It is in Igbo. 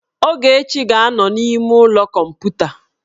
Ogechi ga-anọ n'ime ụlọ kọmputa